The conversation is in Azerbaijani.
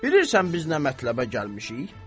Bilirsən biz nə mətləbə gəlmişik?